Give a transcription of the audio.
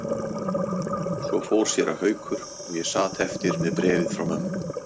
Svo fór séra Haukur og ég sat eftir með bréfið frá mömmu.